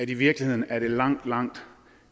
i virkeligheden er langt langt